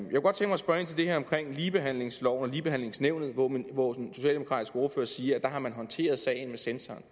til det her omkring ligebehandlingsloven og ligebehandlingsnævnet hvor den socialdemokratiske ordfører siger at der har man håndteret sagen med censoren